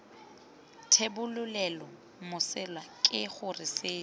thebolelo mesola ke gore seno